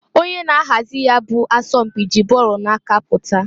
Onye na-ahazi ya bụ asọm mpị ji ball na-aka pụta.